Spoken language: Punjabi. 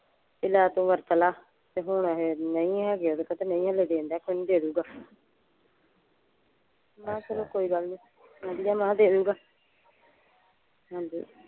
ਬੀ ਲੈ ਤੂੰ ਵਰਤ ਲਾ ਤੇ ਹੁਣ ਅਖੇ ਨਹੀਂ ਹੈਗੇ ਉਹਦੇ ਕੋਲ ਤੇ ਨਹੀਂ ਹਾਲੇ ਦੇਣ ਡਯਾ ਕੋਈ ਨਹੀਂ ਦੇ ਦੂ ਗਾ ਬਸ ਫੇਰ ਕੋਈ ਗੱਲ ਨਹੀਂ ਮੈਂ ਕਿਹਾ ਦੇਦੁ ਗਾ ਹਾਂਜੀ।